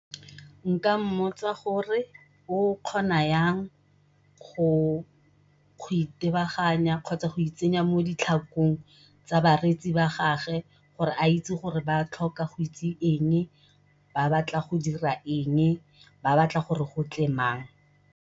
Nka mmotsa gore o kgona yang go itebaganya kgotsa go itsenya mo ditlhakong tsa bareetsi ba gage gore a itse gore ba tlhoka go itse eng, ba batla go dira eng, ba batla gore go tle mang.